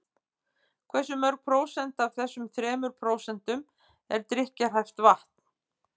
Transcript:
Hversu mörg prósent af þessum þremur prósentum er drykkjarhæft vatn?